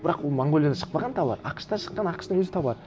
бірақ ол монғолиядан шықпаған тауар ақш тан шыққан ақш тың өз тауары